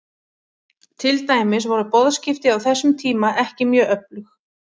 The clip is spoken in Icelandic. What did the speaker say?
Til dæmis voru boðskipti á þessum tíma ekki mjög öflug.